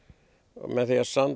með því að